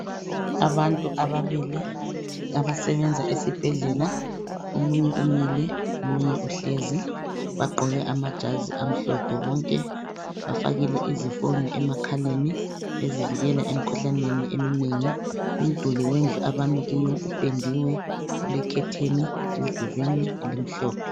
Abantu ababili abasebenza esibhedlela, omunye umile omunye uhlezi bagqoke amajazi amhlophe bonke. Bafakile izifonyo emakhaleni bezivikela emkhuhlaneni eminengi. Umduli wendlu abami kuyo upendiwe ulekhetheni emdulini elimhlophe.